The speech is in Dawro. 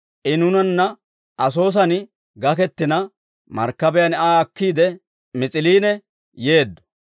I nuunanna Asoosan gakettina, markkabiyaan Aa akkiide Mis'iliine yeeddo.